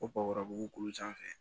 Ko b'u kulu sanfɛ